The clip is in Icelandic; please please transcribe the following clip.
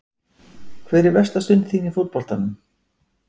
Hver er versta stund þín í fótboltanum?